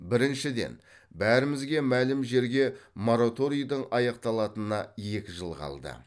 біріншіден бәрімізге мәлім жерге мораторийдің аяқталатынына екі жыл қалды